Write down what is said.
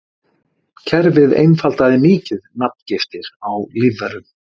Kerfið einfaldaði mikið nafngiftir á lífverum.